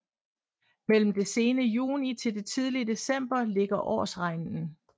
Mellem det sene juni til det tidlige december ligger årsregnen